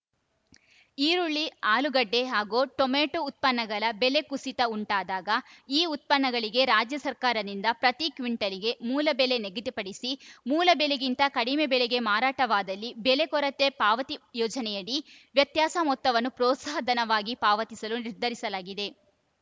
ಈರುಳ್ಳಿ ಆಲೂಗಡ್ಡೆ ಹಾಗೂ ಟೊಮೊಟೋ ಉತ್ಪನ್ನಗಳ ಬೆಲೆ ಕುಸಿತ ಉಂಟಾದಾಗ ಈ ಉತ್ಪನ್ನಗಳಿಗೆ ರಾಜ್ಯ ಸರ್ಕಾರದಿಂದ ಪ್ರತಿ ಕ್ಟಿಂಟಾಲ್‌ಗೆ ಮೂಲ ಬೆಲೆ ನಿಗದಿಪಡಿಸಿ ಮೂಲ ಬೆಲೆಗಿಂತ ಕಡಿಮೆ ಬೆಲೆಗೆ ಮಾರಾಟವಾದಲ್ಲಿ ಬೆಲೆ ಕೊರತೆ ಪಾವತಿ ಯೋಜನೆಯಡಿ ವ್ಯತ್ಯಾಸ ಮೊತ್ತವನ್ನು ಪ್ರೋತ್ಸಾಹಧನವಾಗಿ ಪಾವತಿಸಲು ನಿರ್ಧರಿಸಲಾಗಿದೆ